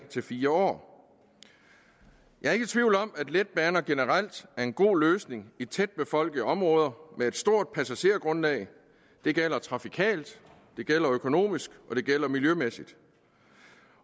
fire år jeg er ikke i tvivl om at letbaner generelt er en god løsning i tætbefolkede områder med et stort passagergrundlag det gælder trafikalt det gælder økonomisk og det gælder miljømæssigt